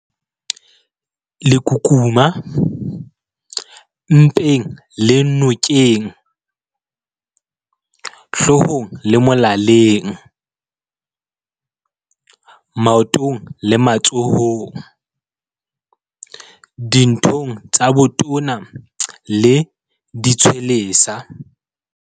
Lekukuma- Mpeng le nokeng, hloohong le molaleng, maotong le matsohong, dithong tsa botona le ditshwelesa.